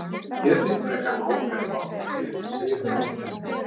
Ég þigg frekar kók ef þú átt það til, segir hún ákveðin.